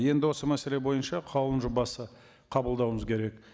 енді осы мәселе бойынша қаулының жобасын қабылдауымыз керек